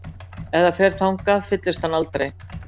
Ef það fer þangað fyllist hann aldrei?